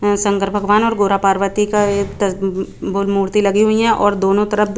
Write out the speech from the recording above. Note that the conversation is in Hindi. और संकर भगवान् और गोरा पार्वती का एक तर भूर मूर्ति लगी हुई है और दोनों तरफ--